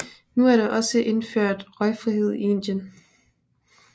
Nu er der også indført røgfrihed i Indien